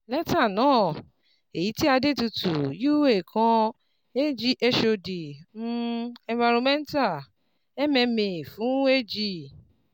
Lẹ́tà náà, èyí tí Adetutu U.A. kan, Ag. HOD, um Environmental, MMA fún Ag.